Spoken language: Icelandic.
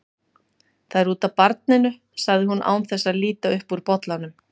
Það er út af barninu, sagði hún án þess að líta upp úr bollanum.